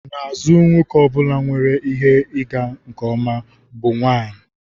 N'azụ nwoke ọ bụla nwere ihe ịga nke ọma bụ nwanyị.